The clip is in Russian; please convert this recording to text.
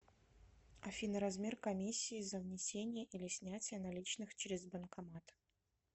афина размер комиссии за внесение или снятие наличных через банкомат